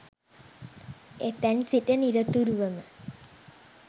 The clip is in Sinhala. එතැන් සිට නිරතුරුවම